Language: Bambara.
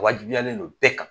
A wajibiyalen don bɛɛ kan.